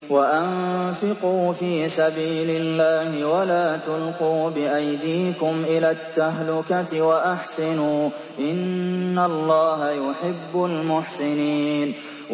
وَأَنفِقُوا فِي سَبِيلِ اللَّهِ وَلَا تُلْقُوا بِأَيْدِيكُمْ إِلَى التَّهْلُكَةِ ۛ وَأَحْسِنُوا ۛ إِنَّ اللَّهَ يُحِبُّ الْمُحْسِنِينَ